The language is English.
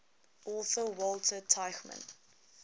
author walter tuchman